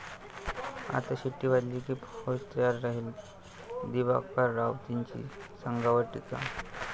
आता शिट्टी वाजली की फौज तयार राहील', दिवाकर रावतेंची संघावर टीका